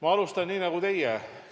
Ma alustan nii nagu teie.